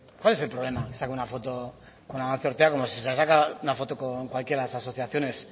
cuál es el problema que saca una foto con amancio ortega como si se la saca una foto con cualquier de las asociaciones